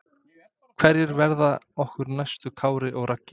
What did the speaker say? Hverjir verða okkar næstu Kári og Raggi?